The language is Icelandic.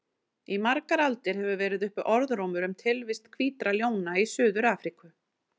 Í margar aldir hefur verið uppi orðrómur um tilvist hvítra ljóna í Suður-Afríku.